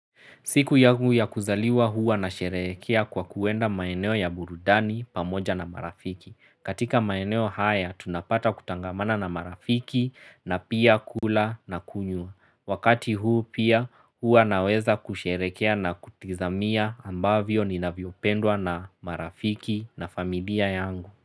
Siku yangu ya kuzaliwa huwa nasherehekea kwa kuenda maeneo ya burudani pamoja na marafiki. Katika maeneo haya, tunapata kutangamana na marafiki na pia kula na kunywa. Wakati huu pia huwa naweza kusherekea na kutizamia ambavyo ninavyopendwa na marafiki na familia yangu.